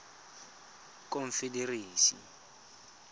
confederacy